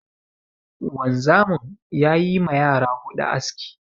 Wanzamin ya yi ma yara huɗu aski.